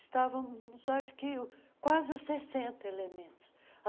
Estavamos, acho que, quase os sessenta elementos.